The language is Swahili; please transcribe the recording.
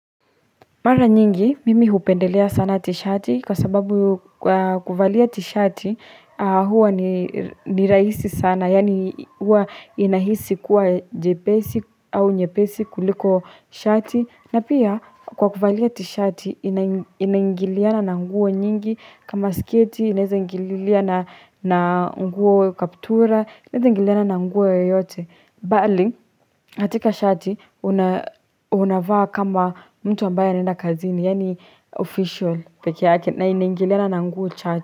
Mara nyingi, mimi upendelea sana t-shati kwa sababu kuvalia t-shati huwa ni raisi sana, yani huwa inahisi kuwa jepesi au nyepesi kuliko shati. Na pia kwa kuvalia t-shati inangiliana na nguo nyingi kama sketi, inangiliana na nguo kaptura, inangiliana na nguo yoyote. Bali katika shati unavaa kama mtu ambayo anenda kazini yaani official peke yake na inaingiliana na nguu chache.